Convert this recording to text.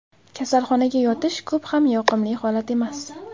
Kasalxonaga yotish ko‘p ham yoqimli holat emas.